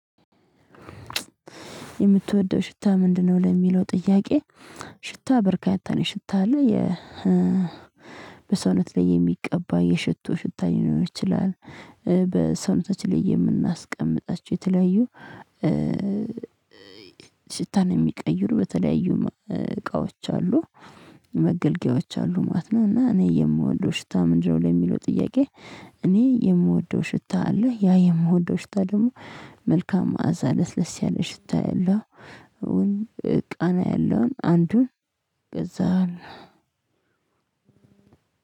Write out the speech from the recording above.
የምትወደው ሽታ ምንድነው ለሚለው ጥያቄ? ሽታ በርካታ ነው ሽታ አለ የ በሰውነት ላይ የሚቀባ የሽቶ ሽታ ሊሆን ይችላል። በሰውነታችን ላይ የምናስቀምጣቸው የተለያዩ። ሽታን የሚቀይሩ በተለያዩ እቃዎች አሉ መገልገያዎች አሉ ማለት ነው። እና እኔ የምወደው ሽታ ምንድነው ለሚለው ጥያቄ? እኔ የምወደው ሽታ አለ ያ የምወደው ሽታ ደግሞ መልካም ማዕዛ ለስለስ ያለ ሽታ ያለው። እውን ቃና ያለውን አንዱን ከዛን።